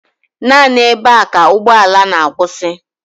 Naanị ebe a ka ụgbọala na-akwụsị